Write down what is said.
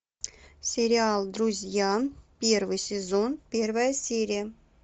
сериал друзья первый сезон первая серия